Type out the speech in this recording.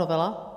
Novela.